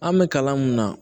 An bɛ kalan mun na